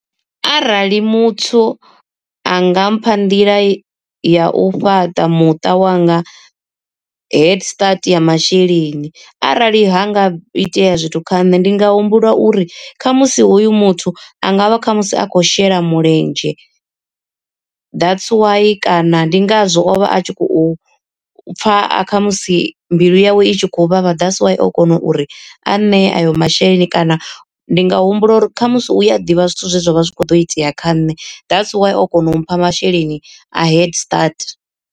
Arali muthu anga mpha nḓila ya u fhaṱa muṱa wanga head start ya masheleni, arali ha nga itea zwithu kha nṋe ndi nga humbula uri khamusi hoyu muthu angavha kha musi a khou shela mulenzhe. That's why kana ndi ngazwo o vha a tshi khou pfa a khamusi mbilu yawe i tshi khou vha vha that's why o kona uri a nṋe ayo masheleni kana ndi nga humbula uri khamusi u a ḓivha zwithu zwe zwavha zwi kho ḓo itea kha nṋe that's why o kona u mpha masheleni a head start.